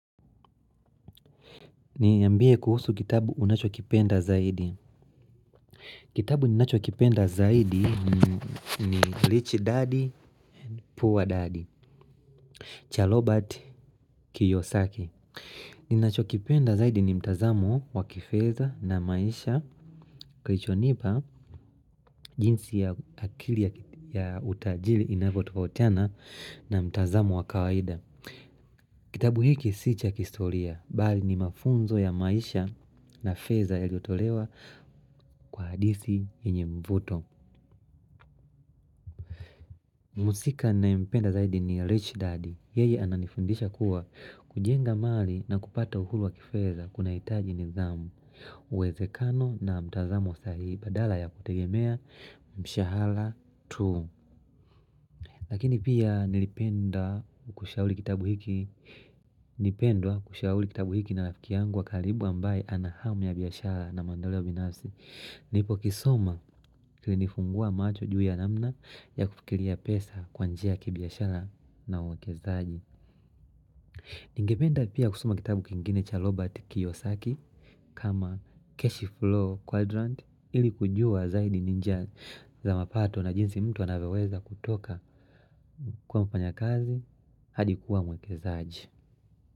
Niambie kuhusu kitabu unachokipenda zaidi. Kitabu ninachokipenda zaidi ni Rich Daddy, Poor Daddy, Cha lobat Kiyosaki. Ninachokipenda zaidi ni mtazamo wa kifeza na maisha, kilichonipa jinsi ya akili ya utajili inavyotofautiana na mtazamo wa kawaida. Kitabu hiki si cha kihistoria. Bali ni mafunzo ya maisha na feza yaliyotolewa kwa hadisi yenye mvuto. Mhusika ninayempenda zaidi ni Rich Daddy. Yeye ananifundisha kuwa kujenga mali na kupata uhuru wa kifedha kunahitaji nidhamu uwezekano na mtazamo sahihi badala ya kutegemea mshahala tu. Lakini pia nilipenda kushauli kitabu hiki. Nipendwa kushauli kitabu hiki na lafiki yangu wa kalibu ambaye anahamu ya biashara na maendeleo binafsi. Nilipokisoma kilinifungua macho juu ya namna ya kufikilia pesa kwa njia ya kibiashara na uwekezaaji. Ningependa pia kusoma kitabu kingine cha Robert Kiyosaki. Kama cash flow quadrant ili kujua zaidi ni njia za mapato na jinsi mtu anavyoweza kutoka kuwa mfanyakazi hadi kuwa mwekezaaji.